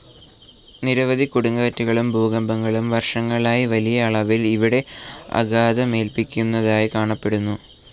നിരവധി കൊടുങ്കാറ്റുകളും ഭൂകമ്പങ്ങളും വർഷങ്ങളായി വലിയ അളവിൽ ഇവിടെ ആഘാതമേൽപ്പിക്കുന്നതായി കാണപ്പെടുന്നു.